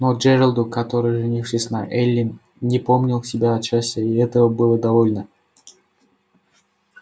но джералду который женившись на эллин не помнил себя от счастья и этого было довольно